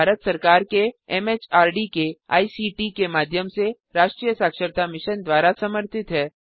यह भारत सरकार के एमएचआरडी के आईसीटी के माध्यम से राष्ट्रीय साक्षरता मिशन द्वारा समर्थित है